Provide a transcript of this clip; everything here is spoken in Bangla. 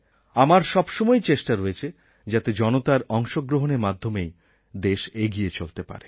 আমার সবসময়েই চেষ্টা রয়েছে যাতে জনতার অংশগ্রহণের মাধ্যমেই দেশ এগিয়ে চলতে পারে